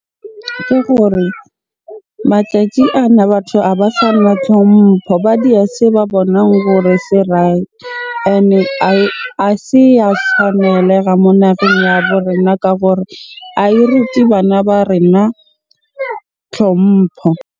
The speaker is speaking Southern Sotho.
Ke gore matjatji ana batho a ba sana tlhompho. Ba dia se ba bonang hore se right. Ene a se ya tshwanelo moo nageng ya bo rena ka gore ae rute bana ba rena tlhompho.